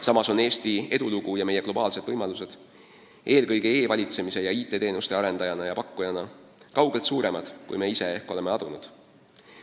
Samas on Eesti edulugu ja meie globaalsed võimalused – eelkõige e-valitsemise ja IT-teenuste arendaja ja pakkujana – kaugelt suuremad, kui me ise ehk oleme adunud.